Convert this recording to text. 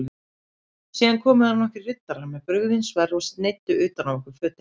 Síðan komu þar nokkrir riddarar með brugðin sverð og sneiddu utan af okkur fötin.